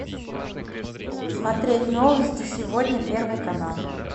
смотреть новости сегодня первый канал